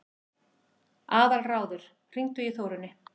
Aðalráður, hringdu í Þórunni.